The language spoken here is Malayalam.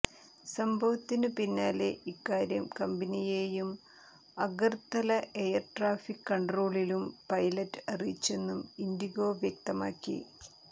സംഭവത്തിനു പിന്നാലെ ഇക്കാര്യം കമ്പനിയെയും അഗർത്തല എയർ ട്രാഫിക് കൺട്രോളിലും പൈലറ്റ് അറിയിച്ചെന്നും ഇൻഡിഗോ വ്യക്തമാക്കി